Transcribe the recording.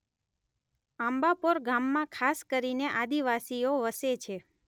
આંબાપોર ગામમાં ખાસ કરીને આદિવાસીઓ વસે છે.